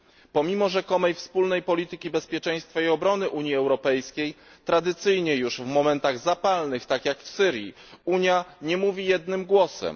Pomimo rzekomej wspólnej polityki bezpieczeństwa i obrony Unii Europejskiej tradycyjnie już w momentach zapalnych, tak jak w przypadku Syrii, Unia nie mówi jednym głosem.